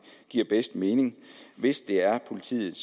giver bedst mening hvis det er politiet